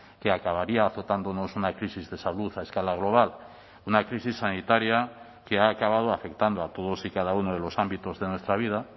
que acabaría azotándonos una crisis de salud a escala global una crisis sanitaria que ha acabado afectando a todos y cada uno de los ámbitos de nuestra vida